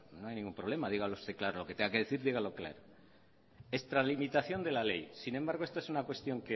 no hay ningún problema dígalo usted claro lo que tenga que decir dígalo claro extralimitación de la ley sin embargo esta es una cuestión